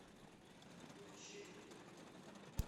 мучение